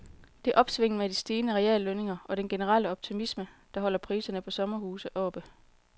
Det er opsvinget med de stigende reallønninger og den generelle optimisme, der holder priserne på sommerhuse oppe.